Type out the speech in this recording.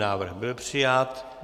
Návrh byl přijat.